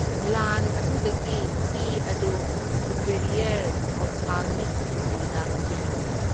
ꯒ꯭ꯂꯥꯟ ꯑꯗꯨꯗꯒꯤ ꯏ ꯑꯗꯨ ꯁꯨꯄꯦꯔꯤꯌꯔ ꯑꯣꯞꯊꯥꯜꯃꯤꯛ ꯁꯤꯡꯂꯤꯗ ꯆꯦꯟꯊꯩ꯫